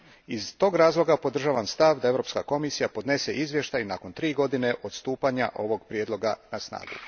Iz tog razloga podržavam stav da Europska komisija podnese izvješće nakon tri godina od stupanja ovog prijedloga na snagu.